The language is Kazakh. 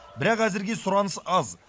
бірақ әзірге сұраныс аз